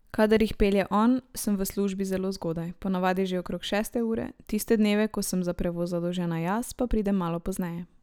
Kadar jih pelje on, sem v službi zelo zgodaj, po navadi že okrog šeste ure, tiste dneve, ko sem za prevoz zadolžena jaz, pa pridem malo pozneje.